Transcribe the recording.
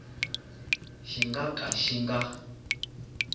xi nga ka xi nga